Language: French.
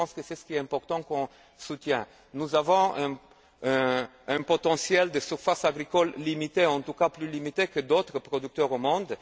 Je pense que c'est cela qu'il est important de soutenir. Nous avons un potentiel de surface agricole limité, en tout cas plus limité que d'autres producteurs au monde.